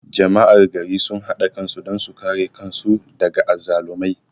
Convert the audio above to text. Jama'ar gari sun hada kai don su kare kan su daga azzalumai